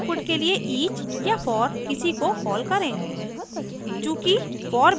और समान आउटपुट के लिए each या for किसी को कॉल करें